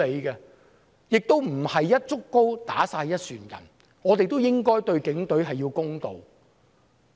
不要"一竹篙打一船人"，我們應該對警隊公道。